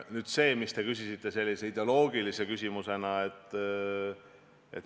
Nüüd see, mis te küsisite sellise ideoloogilise küsimusena.